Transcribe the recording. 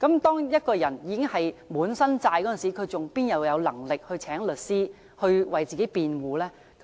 當一個人背負滿身債務時，怎會有能力聘請律師為自己辯護？